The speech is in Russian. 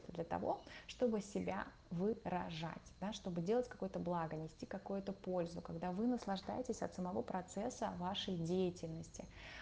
для того чтобы себя выражать да чтобы делать какое-то благо нести какую-то пользу когда вы наслаждаетесь от самого процесса вашей деятельности